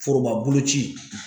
Forobaboloci.